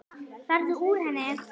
Farðu úr henni.